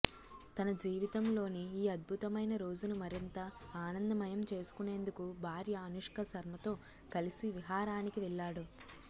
తన జీవితంలోని ఈ అద్భుతమైన రోజును మరింత ఆనందమయం చేసుకొనేందుకు భార్య అనుష్కశర్మతో కలిసి విహారానికి వెళ్లాడు